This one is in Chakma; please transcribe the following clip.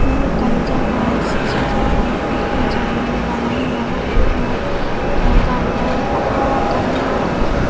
eyan ekkan jaga say jaganot he jani mela na he hobor no pangor tey gari bike balukkani agey.